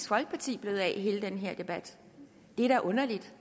folkeparti blevet af i hele den her debat det er da underligt det